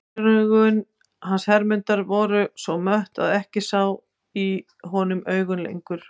Gleraugun hans Hermundar voru svo mött að ég sá ekki í honum augun lengur.